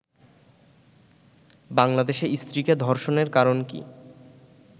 বাংলাদেশে স্ত্রীকে ধর্ষণের কারণ কি